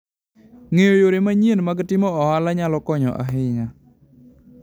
Ng'eyo yore manyien mag timo ohala nyalo konyo ahinya.